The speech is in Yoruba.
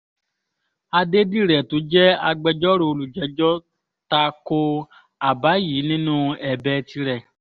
adédìrẹ̀ tó jẹ́ agbẹjọ́rò olùjẹ́jọ́ ta ko àbá yìí nínú ẹ̀bẹ̀ tirẹ̀